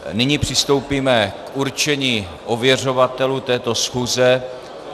Nyní přistoupíme k určení ověřovatelů této schůze.